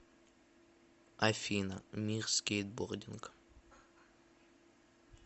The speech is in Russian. афина мир скейтбординга